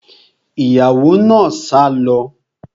Ìyàwó náà sá lọ